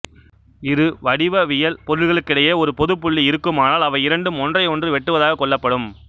இரு வடிவவியல் பொருட்களுக்கிடையே ஒரு பொதுப்புள்ளி இருக்குமானால் அவை இரண்டும் ஒன்றையொன்று வெட்டுவதாகக் கொள்ளப்படும்